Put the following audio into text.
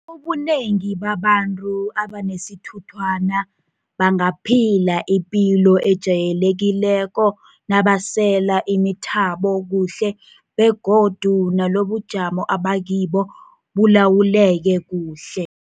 Ubunengi babantu abanesithunthwana bangaphila ipilo ejayelekileko nabasela imithabo kuhle begodu nalobubujamo abakibo bulawuleke kuhle.